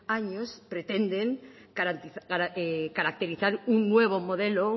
años pretenden caracterizar un nuevo modelo